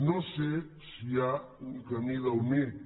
no sé si hi ha un camí del mig